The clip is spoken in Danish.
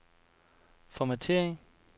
formattering